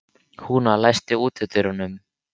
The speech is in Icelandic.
Húna, læstu útidyrunum.